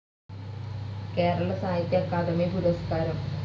കേരള സാഹിത്യ അക്കാദമി പുരസ്‌കാരം